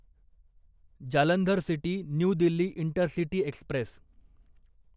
Jalandhar city New Delhi intercity Express